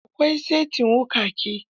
Akwai saitin wuƙaƙe.